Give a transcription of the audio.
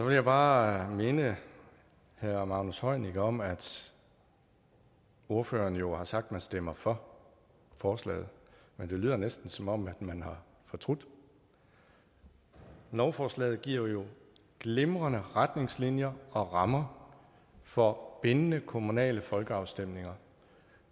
jeg bare minde herre magnus heunicke om at ordføreren jo har sagt at man stemmer for forslaget men det lyder næsten som om man har fortrudt lovforslaget giver jo glimrende retningslinjer og rammer for bindende kommunale folkeafstemninger